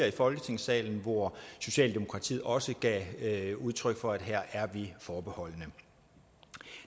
i folketingssalen hvor socialdemokratiet også gav udtryk for at her er vi forbeholdne